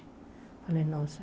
Falei, nossa.